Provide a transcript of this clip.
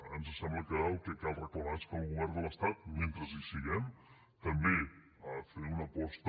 ens sembla que el que cal reclamar és que el govern de l’estat mentre hi siguem també ha de fer una aposta